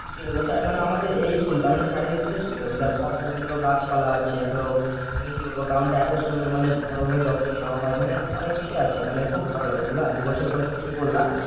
কি বলবো মানে আমাদের এই school টা মানে চারদিক থেকে সব ধরনের ধরো গাছপালা আছে ধরো মানে কি বলবো ground টা এত সুন্দর মানে ভালোভাবে যত্ন নেওয়া হয় মানে অনেক কিছুই আছে মানে খুব ভালো লাগে বুঝলে দুবছর পরে তুমি